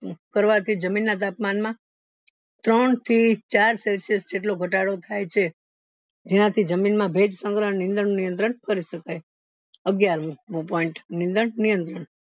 કરવાથી જમીન ના તાપમાન માં ત્રણ રહી ચાર celsious જેટલો ઘટાડો થાય છે જેનાથી જમીન માં ભેજ સંગ્રહ નિયંત્રણ કરી શકાય અગ્યાર મુ point નીદ રનિયંત્રણ